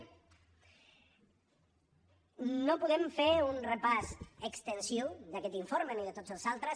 no podem fer un repàs extensiu d’aquest informe ni de tots els altres